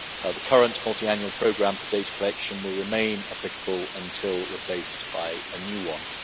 The current Multiannual Programme for Data Collection will remain applicable until replaced by a new one.